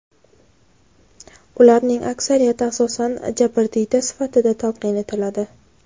Ularning aksariyati asosan jabrdiyda sifatida talqin etiladi.